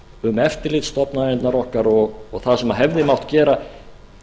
um eftirlitsstofnanirnar okkar og það sem hefði mátt gera